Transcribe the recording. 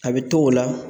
A bɛ t'o la